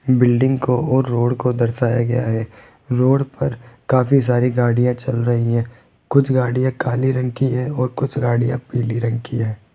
Building को और road को दर्शाया गया है रोड पर काफी सारी गाड़ियां चल रही है कुछ गाड़ियां काले रंग की है और कुछ गाड़ियां पीली रखी है।